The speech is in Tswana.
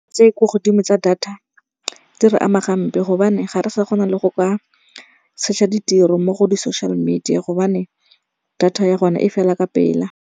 Tse ko godimo tsa data di re ama gampe gobane ga re sa kgona le go ka search-a ditiro mo go di-social media gobane data ya gone e fela ka pela.